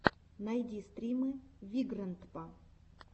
найти стримы вигрэндпа